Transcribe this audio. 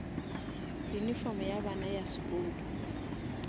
uniform ya bana ya sekolo